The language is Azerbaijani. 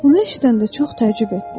Bunu eşidəndə çox təəccüb etdim.